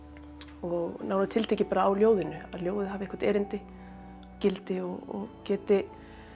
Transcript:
og nánar tiltekið á ljóðinu að ljóðið hafi eitthvert erindi gildi og geti